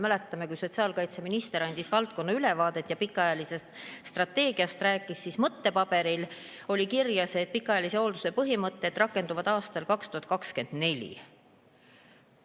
Mäletame, et kui sotsiaalkaitseminister andis valdkonnast ülevaadet ja rääkis pikaajalisest strateegiast, siis mõttepaberil oli kirjas, et pikaajalise hoolduse põhimõtted rakenduvad aastal 2024.